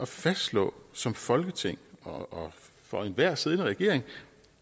fastslå som folketing og for enhver siddende regering